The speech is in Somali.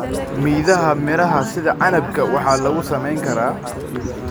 Midhaha miraha sida canabka waa lagu samayn karaa.